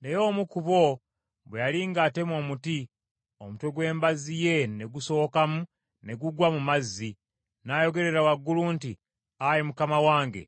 Naye omu ku bo bwe yali ng’atema omuti, omutwe gw’embazzi ye ne gusowokamu ne gugwa mu mazzi, n’ayogerera waggulu nti, “Ayi mukama wange,